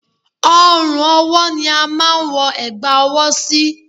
Ọrùn ọwọ́ ni a máa ń wọ ẹ̀gbà ọwọ́ sí